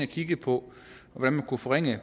kiggede på hvordan man kunne forringe